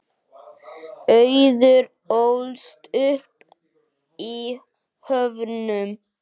Auður ólst upp í Höfnum.